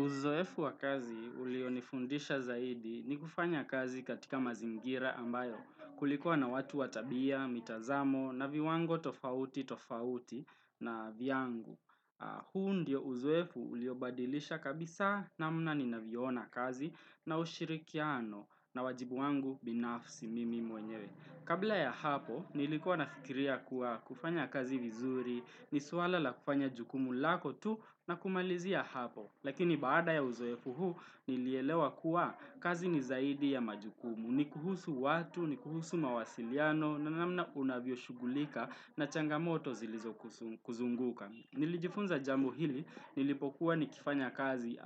Uzoefu wa kazi ulio nifundisha zaidi ni kufanya kazi katika mazingira ambayo kulikuwa na watu watabia, mitazamo, na viwango tofauti tofauti na vyangu huu ndiyo uzoefu ulio badilisha kabisa na mna ni naviona kazi na ushirikiano na wajibu wangu binafsi mimi mwenyewe. Kabla ya hapo, nilikuwa na fikiria kuwa kufanya kazi vizuri, nisuala la kufanya jukumu lako tu na kumalizia hapo. Lakini baada ya uzoefu huu nilielewa kuwa kazi nizaidi ya majukumu, nikuhusu watu, nikuhusu mawasiliano, nanamna unavyo shughulika na changamoto zilizo kuzunguka. Nilijifunza jambo hili nilipokuwa ni kifanya kazi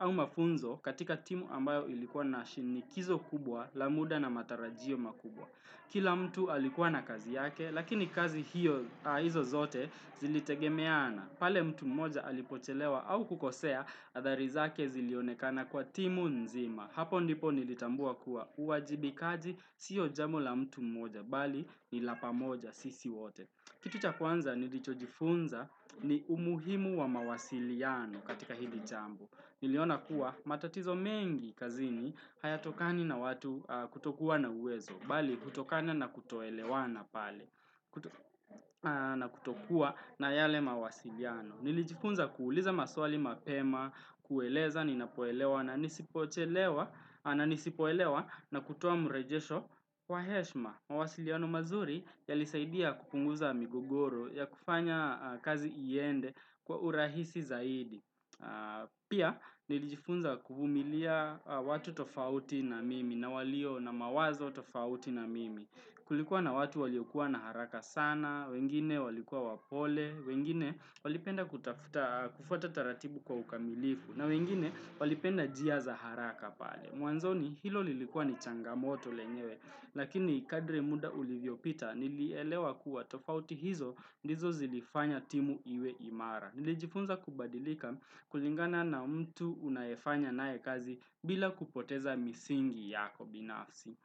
au mafunzo katika timu ambayo ilikuwa na shinikizo kubwa la muda na matarajio makubwa. Kila mtu alikuwa na kazi yake lakini kazi hiyo hizo zote zilitegemeana pale mtu mmoja alipochelewa au kukosea adhari zake zilionekana kwa timu nzima. Hapo ndipo nilitambua kuwa uajibikaji siyo jambo la mtu mmoja bali ni lapamoja sisi wote. Kitu cha kwanza nilicho jifunza ni umuhimu wa mawasiliano katika hili jambo. Niliona kuwa matatizo mengi kazini haya tokani na watu kutokuwa na uwezo, bali kutokani na kutoelewana pale na kutokuwa na yale mawasiliano. Nilijifunza kuuliza maswali mapema, kueleza, ninapoelewa na nisipoelewa na kutoa mrejesho wa heshma. Mawasiliano mazuri ya lisaidia kupunguza migogoro ya kufanya kazi iende kwa urahisi zaidi. Pia nilijifunza kuvumilia watu tofauti na mimi na walio na mawazo tofauti na mimi. Kulikuwa na watu waliokua na haraka sana, wengine walikuwa wapole, wengine walipenda kufata taratibu kwa ukamilifu, na wengine walipenda njia za haraka pale. Mwanzoni hilo lilikua ni changamoto lenyewe, lakini kadri muda ulivyo pita nilielewa kuwa tofauti hizo ndizo zilifanya timu iwe imara. Nilijifunza kubadilika kulingana na mtu unaefanya nae kazi bila kupoteza misingi yako binafsi.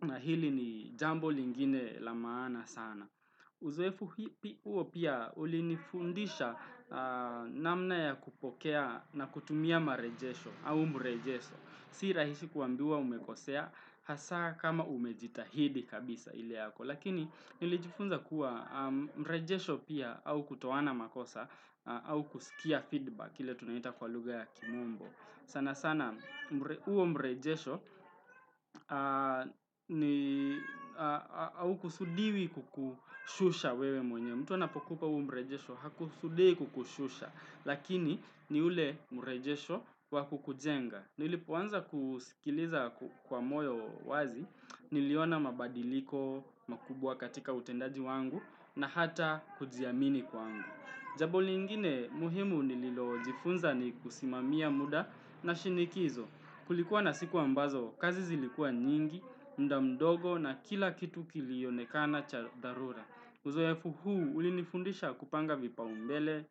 Na hili ni jambo lingine lamaana sana. Uzoefu huo pia ulinifundisha namna ya kupokea na kutumia marejesho au mrejesho. Si rahisi kuambiwa umekosea hasa kama umejitahidi kabisa ili yako. Lakini nilijifunza kuwa mrejesho pia au kutowana makosa au kusikia feedback ili tunaita kwa luga ya kimombo. Sana sana uo mrejesho au kusudiwi kukushusha wewe mwenye. Mtu anapokupa uo mrejesho hakusudi kukushusha. Lakini ni ule mrejesho wa kukujenga. Nili poanza kusikiliza kwa moyo wazi, niliona mabadiliko makubwa katika utendaji wangu na hata kujiamini kwangu. Jambo lingine muhimu nililo jifunza ni kusimamia muda na shinikizo. Kulikuwa na siku ambazo, kazi zilikua nyingi, mdamdogo na kila kitu kilionekana cha dharura Uzoefu huu ulinifundisha kupanga vipa umbele,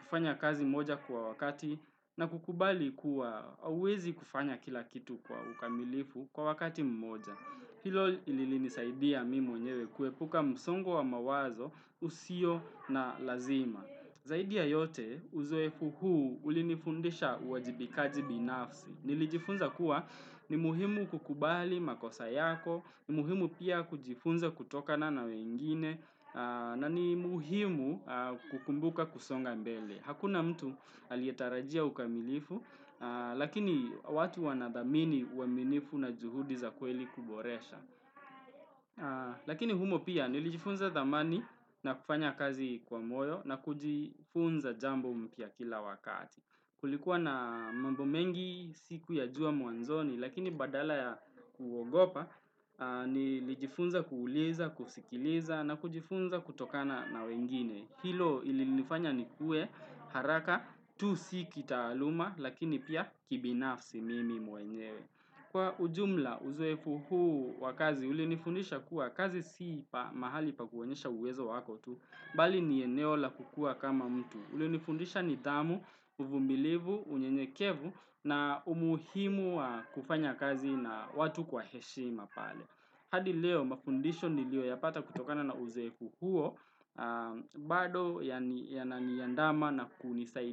kufanya kazi moja kwa wakati na kukubali kuwa hauwezi kufanya kila kitu kwa ukamilifu kwa wakati mmoja. Hilo lilinisaidia mimi mwenyewe kuepuka msongo wa mawazo usio na lazima. Zaidia yote uzoefu huu ulinifundisha uajibikaji binafsi. Nilijifunza kuwa ni muhimu kukubali makosa yako, ni muhimu pia kujifunza kutoka na nawengine, na ni muhimu kukumbuka kusonga mbele. Hakuna mtu alietarajia ukamilifu, lakini watu wanadhamini uaminifu na juhudi za kweli kuboresha. Lakini humo pia nilijifunza dhamani na kufanya kazi kwa moyo na kujifunza jambo mpya kila wakati. Kulikuwa na mambo mengi, si kuyajua mwanzoni, lakini badala ya kuogopa, ni lijifunza kuuliza, kusikiliza, na kujifunza kutokana na wengine. Hilo ilinifanya ni kue haraka, tu si kita aluma, lakini pia kibinafsi mimi mwenyewe. Kwa ujumla, uzoefu huu wa kazi, ulinifundisha kuwa kazi si pa mahali pa kuonyesha uwezo wako tu, Bali ni eneo la kukua kama mtu ulio ni fundisha ni dhamu, uvumilivu, unyenyekevu na umuhimu wa kufanya kazi na watu kwa heshima pale hadi leo mafundisho ni lio ya pata kutokana na uzoefu huo bado yana niandama na kunisaidia.